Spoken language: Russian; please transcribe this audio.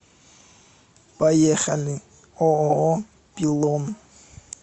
поехали ооо пилон